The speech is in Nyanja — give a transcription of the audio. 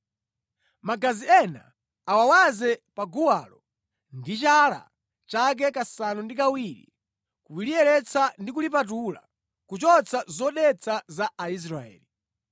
Magazi ena awawaze pa guwalo ndi chala chake kasanu ndi kawiri kuliyeretsa ndi kulipatula kuchotsa zodetsa za Aisraeli.